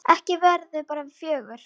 Ekki verðum við bara fjögur?